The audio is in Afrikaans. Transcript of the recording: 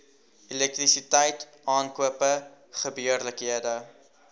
elektrisiteit aankope gebeurlikhede